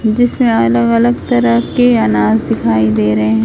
जिसमें अलग अलग तरह के अनाज दिखाई दे रहे--